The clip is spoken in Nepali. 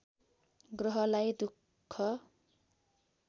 ग्रहलाई दुख